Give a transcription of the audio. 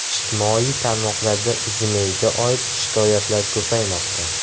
Ijtimoiy tarmoqlarda UZIMEI’ga oid shikoyatlar ko‘paymoqda.